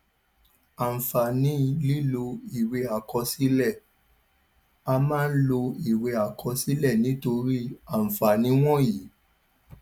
àǹfààní lílọ ìwé àkọsílẹ a máa ń lo ìwé àkọsílẹ nítorí àǹfààní wọnyí